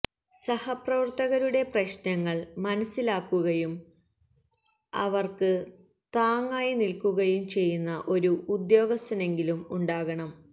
സഹപ്രവര്ത്തകരുടെ പ്രശ്നങ്ങള് മനസിലാക്കുകയും അവര്ക്ക് തങ്ങായി നില്ക്കുകയും ചെയ്യുന്ന ഒരു ഉദ്യോഗസ്ഥനെങ്കിലും ഉണ്ടാകണം